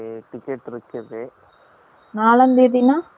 நாலான் தேதி நான் என்ன கிலம வருது